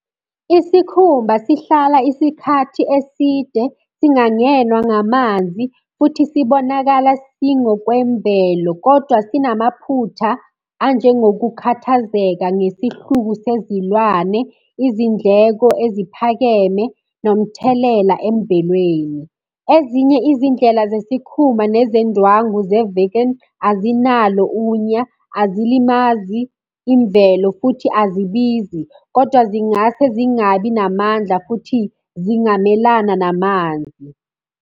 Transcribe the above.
Isikhumba sihlala isikhathi eside singangenwa ngamanzi, futhi sibonakala singokwemvelo, kodwa sinamaphutha anjengokukhathazeka ngesihluku sezilwane, izindleko eziphakeme, nomthelela emvelweni. Ezinye izindlela zesikhumba nezendwangu ze-vegan, azinalo unya, azilimazi imvelo, futhi azibizi, kodwa zingase zingabi namandla futhi zingamelana namanzi.